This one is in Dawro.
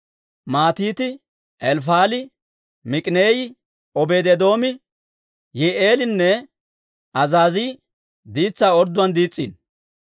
Matiite, Elifaali, Miik'ineeyi, Obeedi-Eedoomi, Yi'i'eelinne Azaazii diitsaa orddiyaan diis's'iino.